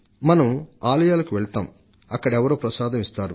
మనం ఆలయాలకు వెళ్లినప్పుడు మనకు ప్రసాదం అందిస్తారు